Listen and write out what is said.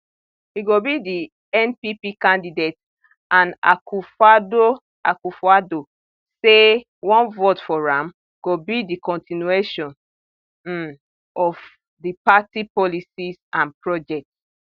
e go be di npp candidate and akufoaddo akufoaddo say one vote for am go be di continuation um of di party policies and projects